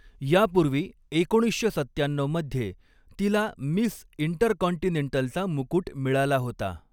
यापूर्वी एकोणीसशे सत्त्यान्ननऊ मध्ये तिला मिस इंटरकॉन्टिनेंटलचा मुकूट मिळाला होता.